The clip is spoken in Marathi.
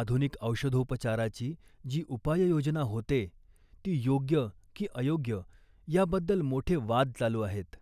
आधुनिक औषधोपचाराची जी उपाययोजना होते, ती योग्य की अयोग्य याबद्दल मोठे वाद चालू आहेत